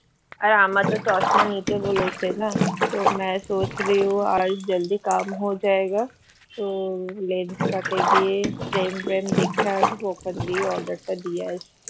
আর আমায় তো চশমা নিতে বলেছে না লেন্সকার্ট এ গিয়ে trend ভেন্ড দেখে আসবো ওখান দিয়েই order টা দিয়ে আসবো